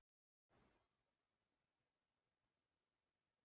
Viktoría: Hvernig er þetta?